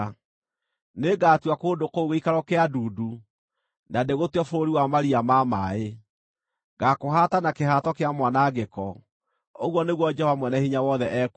“Nĩngatua kũndũ kũu gĩikaro kĩa ndundu, na ndĩgũtue bũrũri wa maria ma maaĩ; ngaakũhaata na kĩhato kĩa mwanangĩko,” ũguo nĩguo Jehova Mwene-Hinya-Wothe ekuuga.